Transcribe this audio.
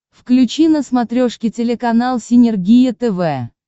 включи на смотрешке телеканал синергия тв